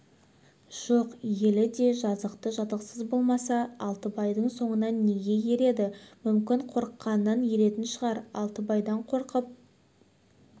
жоқ елі де жазықты жазықсыз болмаса алтыбайдың соңынан неге ереді мүмкін қорыққанынан еретін шығар алтыбайдан қорқып